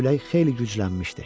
Külək xeyli güclənmişdi.